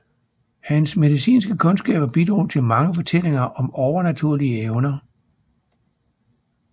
Hans medicinske kundskaber bidrog til mange fortællinger om overnaturlige evner